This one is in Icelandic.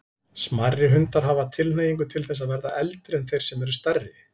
Smærri hundar hafa tilhneigingu til þess að verða eldri en þeir sem eru stærri.